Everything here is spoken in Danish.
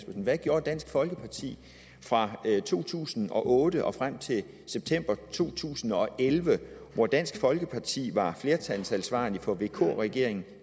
hvad gjorde dansk folkeparti fra to tusind og otte og frem til september to tusind og elleve hvor dansk folkeparti var flertalsansvarlig for vk regeringen